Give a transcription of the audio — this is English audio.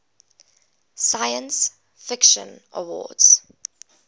science fiction awards